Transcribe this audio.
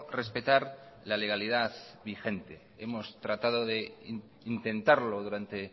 respetar la legalidad vigente hemos tratado de intentarlo durante